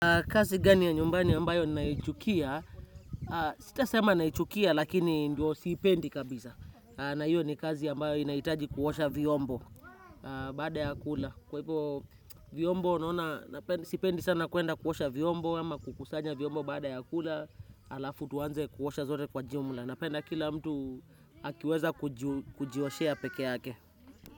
Kazi gani ya nyumbani ambayo ninaichukia, sitasema naichukia lakini ndio siipendi kabisa. Na hiyo ni kazi ambayo inahitaji kuosha vyombo baada ya kula. Kwa hivo vyombo, sipendi sana kuenda kuosha vyombo, ama kukusanya vyombo baada ya kula, halafu tuanze kuosha zote kwa jumla. Napenda kila mtu akiweza kujioshea pekee yake.